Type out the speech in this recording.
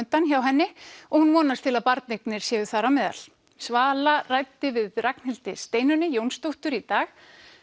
framundan hjá henni og hún vonast til að barneignir séu þar á meðal svala ræddi við Ragnhildi Steinunni Jónsdóttur í dag